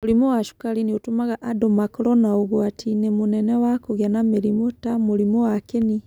mũrimũ wa cukari nĩ ũtũmaga andũ makorwo na ũgwati-inĩ mũnene wa kũgĩa na mĩrimũ, ta mũrimũ wa kĩni.